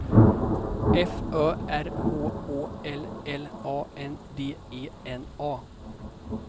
F Ö R H Å L L A N D E N A